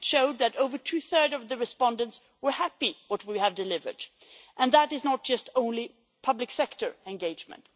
It showed that over two thirds of the respondents were happy with what we have delivered, and that is not just only public sector engagement.